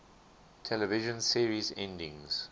television series endings